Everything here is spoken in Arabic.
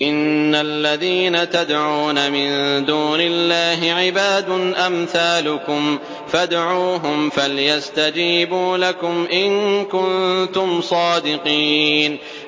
إِنَّ الَّذِينَ تَدْعُونَ مِن دُونِ اللَّهِ عِبَادٌ أَمْثَالُكُمْ ۖ فَادْعُوهُمْ فَلْيَسْتَجِيبُوا لَكُمْ إِن كُنتُمْ صَادِقِينَ